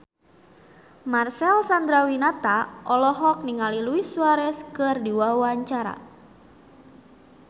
Marcel Chandrawinata olohok ningali Luis Suarez keur diwawancara